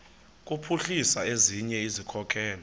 kuphuhlisa ezinye izikhokelo